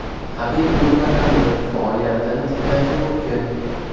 Habib Nurmagomedov faoliyatini tiklashi mumkin.